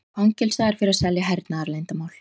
Fangelsaður fyrir að selja hernaðarleyndarmál